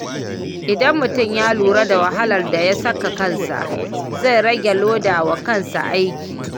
Idan mutum ya lura da wahalar da ya saka kansa, zai rage loda wa kansa aiki.